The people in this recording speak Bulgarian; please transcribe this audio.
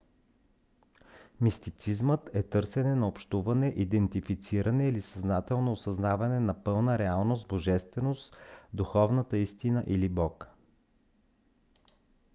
мистицизмът е търсене на общуване идентифициране или съзнателно осъзнаване на пълна реалност божественост духовна истина или бог